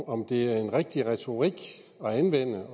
om det er en rigtig retorik at anvende